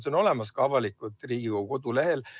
See on olemas ka avalikult Riigikogu kodulehel.